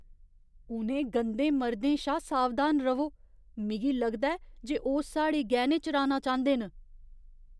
उ'नें गंदे मर्दें शा सावधान र'वो। मिगी लगदा ऐ जे ओह् साढ़े गैह्‌ने चुराना चांह्‌दे न।